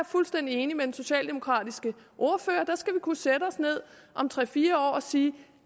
fuldstændig enig med den socialdemokratiske ordfører der skal vi kunne sætte os ned om tre fire år og sige